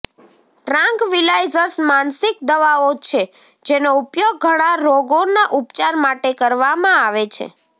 tranquillisers માનસિક દવાઓ છે જેનો ઉપયોગ ઘણા રોગોના ઉપચાર માટે કરવામાં આવે છે